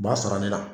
U b'a sara ne la